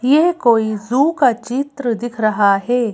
यह कोई जू का चित्र दिख रहा है।